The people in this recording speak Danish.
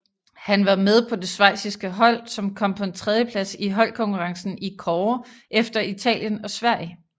Han var med på det schweiziske hold som kom på en tredjeplads i holdkonkurrencen i kårde efter Italien og Sverige